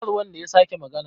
kar wanda ya sake magana!